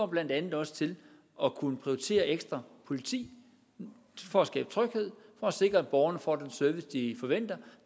blandt andet også til at kunne prioritere ekstra politi for at skabe tryghed og for at sikre at borgerne får den service de forventer